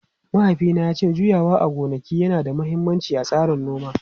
Mahaifina ya ce juyawa a gonaki yana da mahimmanci a tsarin noma.